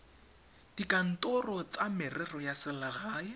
dikantorong tsa merero ya selegae